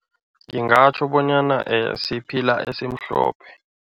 Ngingatjho bonyana siphila esimhlophe.